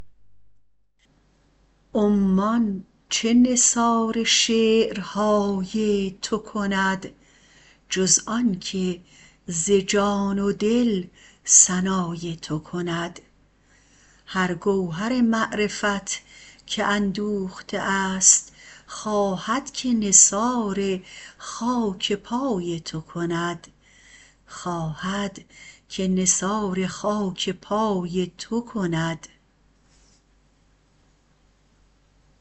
عمان چه نثار شعرهای تو کند جز آن که ز جان و دل ثنای تو کند هر گوهر معرفت که اندوخته است خواهد که نثار خاک پای تو کند